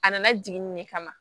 A nana jigin ne kama